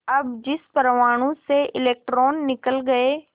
अब जिस परमाणु से इलेक्ट्रॉन निकल गए